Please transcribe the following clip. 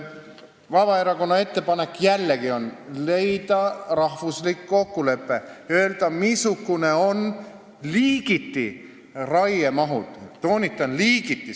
Vabaerakonna ettepanek on jällegi leida rahvuslik kokkulepe, öelda, missugused on raiemahud liigiti, toonitan, et liigiti.